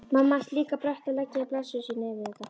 Mamma hans líka brött að leggja blessun sína yfir þetta.